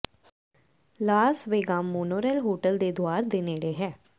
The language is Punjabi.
ਲਾਸ ਵੇਗਾਸ ਮੋਨੋਰੇਲ ਹੋਟਲ ਦੇ ਦੁਆਰ ਦੇ ਨੇੜੇ ਹੈ